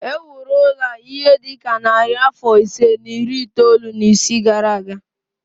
E wuru ụlọ a ihe dị ka narị afọ ise na iri itoolu na isii gara aga